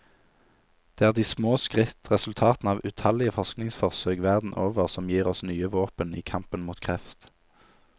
Det er de små skritt, resultatene av utallige forskningsforsøk verden over, som gir oss nye våpen i kampen mot kreft.